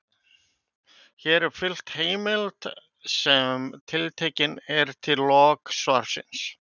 Hér er fylgt heimild sem tiltekin er í lok svarsins.